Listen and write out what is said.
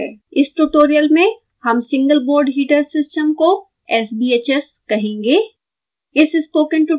इस ट्यूटोरियल में हम single board heater system को sbhs कहेंगे